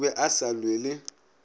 o be a sa lwele